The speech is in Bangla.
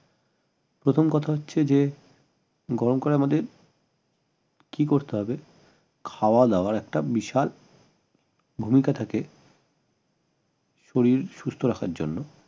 প্রথম কথা হচ্ছে যে গরম কালে আমাদের কি করতে হবে খাওয়া দাওয়ার একটা বিশাল ভূমিকা থাকে শরীর সুষ্ঠ রাখার জন্য